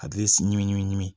A bɛ si ɲimi ɲimi